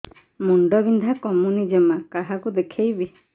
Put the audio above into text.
ମୁଣ୍ଡ ବିନ୍ଧା କମୁନି ଜମା କାହାକୁ ଦେଖେଇବି